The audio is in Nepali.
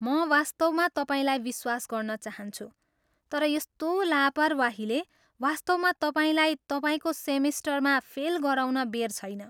म वास्तवमा तपाईँलाई विश्वास गर्न चाहन्छु, तर यस्तो लापरवाहीले वास्तवमा तपाईँलाई तपाईँको सेमेस्टरमा फेल गराउन बेर छैन।